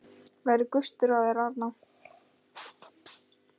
Verður gustur á þér þar?